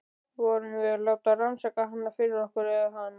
Vorum við að láta rannsaka hana fyrir okkur- eða hana?